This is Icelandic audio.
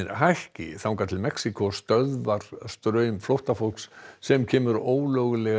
hækka þangað til Mexíkó stöðvar straum flóttafólks sem kemur ólöglega